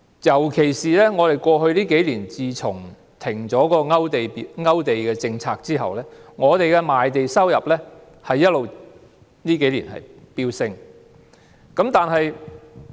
特別是在過去數年，自政府停止勾地政策後，我們的賣地收入一直飆升。